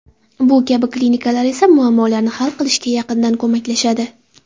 Bu kabi klinikalar esa muammolarni hal qilishga yaqindan ko‘maklashadi.